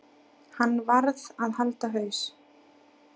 Hann varð að halda haus.